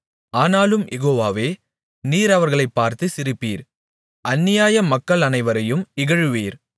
ஆனாலும் யெகோவாவே நீர் அவர்களைப் பார்த்து சிரிப்பீர் அந்நியமக்கள் அனைவரையும் இகழுவீர்